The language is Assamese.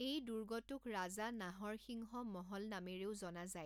এই দুৰ্গটোক ৰাজা নাহৰ সিংহ মহল নামেৰেও জনা যায়।